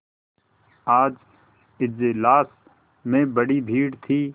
आज इजलास में बड़ी भीड़ थी